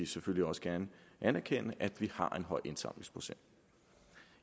selvfølgelig også gerne anerkende at vi har en høj indsamlingsprocent